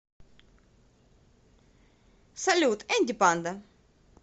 салют энди панда